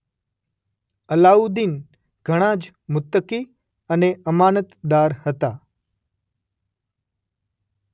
અલાઉદ્દીન ઘણા જ મુત્તકી અને અમાનતદાર હતા.